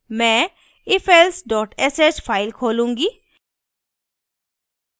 मैं ifelse sh file खोलूंगी